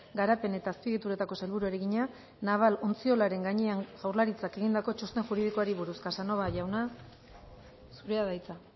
garapen eta azpiegituretako sailburuari egina naval ontziolaren gainean jaurlaritzak egindako txosten juridikoari buruz casanova jauna zurea da hitza